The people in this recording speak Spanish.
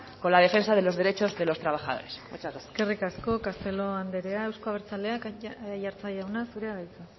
con la defensa de los derechos de los trabajadores muchas gracias eskerrik asko castelo anderea euzko abertzaleak aiartza jauna zurea da hitza